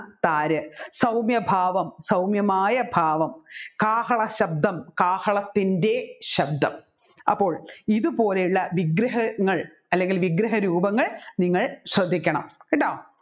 താരു സൗമ്യഭാവം സൗമ്യമായ ഭാവം കാഹളശബ്ദം കാഹളത്തിൻെറ ശബ്ദം അപ്പോൾ ഇതുപോലെ ഉള്ള വിഗ്രഹങ്ങൾ വിഗ്രഹരൂപങ്ങൾ നിങ്ങൾ ശ്രദ്ധിക്കണം കേട്ടോ